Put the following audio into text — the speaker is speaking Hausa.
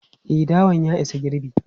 E, dawan ya isa girbi.